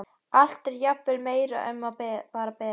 Allt er jafnvel meira en um var beðið.